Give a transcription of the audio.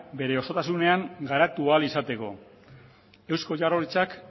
bere osotasunean garatu ahal izateko eusko jaurlaritzak